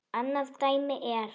Annað dæmi er